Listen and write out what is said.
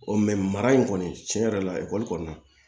mara in kɔni tiɲɛ yɛrɛ la ekɔli kɔni na